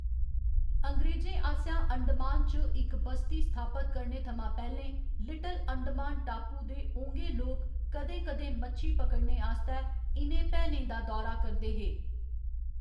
अंग्रेजें आसेआ अंडमान च इक बस्ती स्थापत करने थमां पैह्‌लें, लिटिल अंडमान टापू दे ओंगे लोक कदें कदें मच्छी पकड़ने आस्तै इ'नें भैनें दा दौरा करदे हे।